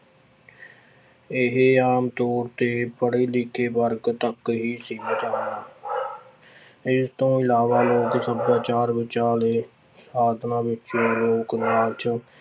ਇਹ ਆਮ ਤੌਰ ਤੇ ਪੜ੍ਹੇ ਲਿਖੇ ਵਰਗ ਤੱਕ ਹੀ ਸੀਮਿਤ ਹਨ ਇਸ ਤੋਂ ਇਲਾਵਾ ਲੋਕ ਸਭਿਆਚਾਰ ਵਿਚਾਲੇ ਸਾਧਨਾਂ ਵਿੱਚ ਲੋਕ ਨਾਚ